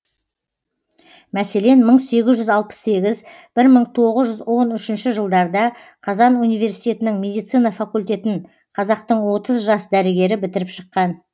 мәселен мың сегіз жүз алпыс сегіз бір мың тоғыз жүз он үшінші жылдарда қазан университетінің медицина факультетін қазақтың отыз жас дәрігері бітіріп шыққан